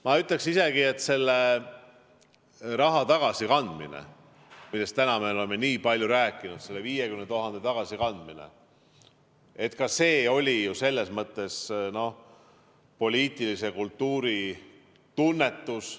Ma ütleks isegi, et selle raha tagasikandmine, millest me täna oleme nii palju rääkinud, selle 50 000 euro tagasikandmine, oli ju selles mõttes ka poliitilise kultuuri tunnetus.